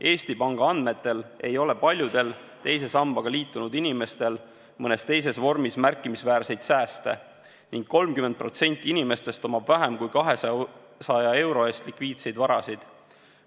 Eesti Panga andmetel ei ole paljudel teise sambaga liitunud inimestel mõnes teises vormis märkimisväärseid sääste ning 30%-l inimestest on vähem kui 200 euro eest likviidseid varasid.